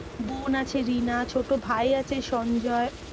বোন আছে রিনা, ছোটো ভাই আছে সঞ্জয়।